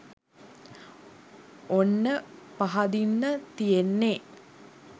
ඔන්න පහදින්න තියෙන්නේ